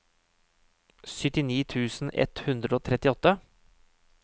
syttini tusen ett hundre og trettiåtte